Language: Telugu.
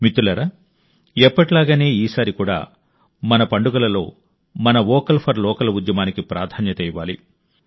మిత్రులారా ఎప్పటిలాగానే ఈసారి కూడా మన పండుగలలో మన వోకల్ ఫర్ లోకల్ ఉద్యమానికి ప్రాధాన్యత ఇవ్వాలి